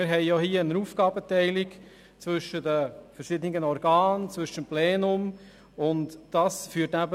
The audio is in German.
Wir haben hier eine Aufgabenteilung zwischen den verschiedenen Organen und dem Plenum des Grossen Rats.